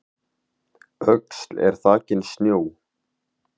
Öxl er þakin snjó